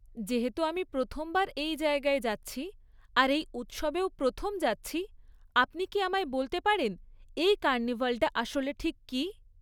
যেহেতু আমি প্রথমবার এই জায়গায় যাচ্ছি আর এই উৎসবেও প্রথম যাচ্ছি, আপনি কি আমায় বলতে পারেন এই কার্নিভালটা আসলে ঠিক কী?